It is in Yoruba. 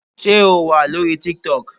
Sé O wà lórí TikTok.